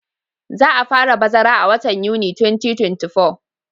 Za a fara bazara a watan Yuni 2024.